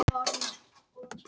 Sæmi, hvernig er veðrið úti?